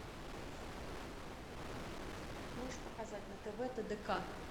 можешь показать на тв тдк